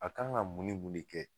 A kan ka mun ni mun de kɛ.